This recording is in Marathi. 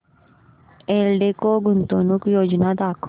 एल्डेको गुंतवणूक योजना दाखव